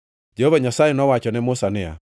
Jehova Nyasaye nowacho ne Musa niya,